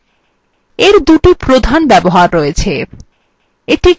এর দুটি প্রধান ব্যবহার রয়েছে